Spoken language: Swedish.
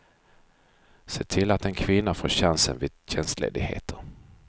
Se till att en kvinna får chansen vid tjänstledigheter.